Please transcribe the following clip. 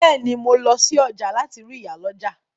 Bẹ́ẹ̀ ni, mo lọ sí ọjà láti rí ìyálọ́jà.